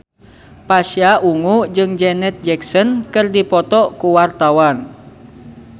Pasha Ungu jeung Janet Jackson keur dipoto ku wartawan